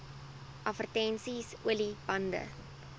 advertensies olie bande